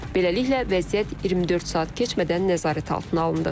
Beləliklə, vəziyyət 24 saat keçmədən nəzarət altına alındı.